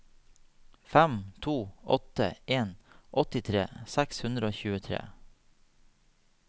fem to åtte en åttitre seks hundre og tjuetre